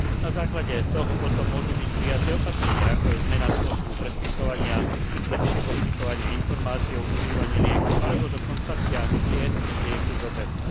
Na základe toho potom môžu byť prijaté opatrenia, ako je zmena spôsobu predpisovania, lepšie poskytovanie informácií o užívaní lieku alebo dokonca stiahnutie lieku z obehu.